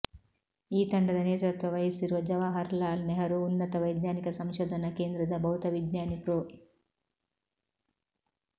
ಈ ತಂಡದ ನೇತೃತ್ವ ವಹಿಸಿರುವ ಜವಾಹರಲಾಲ್ ನೆಹರೂ ಉನ್ನತ ವೈಜ್ಞಾನಿಕ ಸಂಶೋಧನಾ ಕೇಂದ್ರದ ಭೌತವಿಜ್ಞಾನಿ ಪ್ರೊ